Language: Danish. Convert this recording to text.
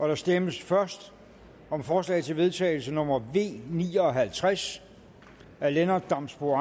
der stemmes først om forslag til vedtagelse nummer v ni og halvtreds af lennart damsbo